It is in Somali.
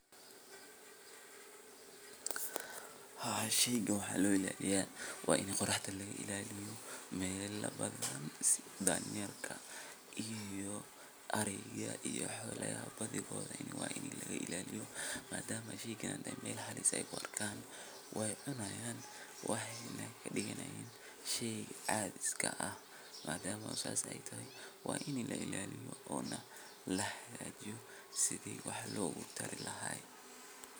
Hawshan waxay muhiim weyn ugu leedahay bulshada dhexdeeda sababtoo ah waxay kor u qaadaysaa nolol wadajir ah oo bulshada dhexdeeda ka hanaqaada. Marka nin haan ag taagan la tuso, waxa uu tilmaamayaa in uu ka qayb qaadanayo howlo muhiim u ah deegaanka sida uruurinta biyaha, ilaalinta nadaafadda, ama xataa hawlo dhaqan oo dhaqaalaha bulshada horumariya. Ninkaasi wuxuu astaan u yahay dadaal iyo is xilqaamid uu muwaadin u sameeyo bulshadiisa si loo gaaro nolol wanaagsan